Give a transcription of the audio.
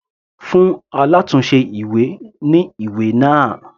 Fún alátùnse ìwé ní ìwé náà.